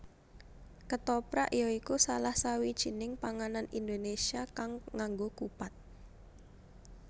Ketoprak ya iku salah sawijining panganan Indonésia kang ngaggo kupat